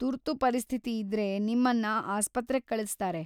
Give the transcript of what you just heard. ತುರ್ತು ಪರಿಸ್ಥಿತಿ ಇದ್ರೆ ನಿಮ್ಮನ್ನ ಆಸ್ಪತ್ರೆಗ್ ಕಳಿಸ್ತಾರೆ.